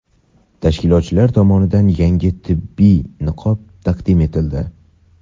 tashkilotchilar tomonidan yangi tibbiy niqob taqdim etildi.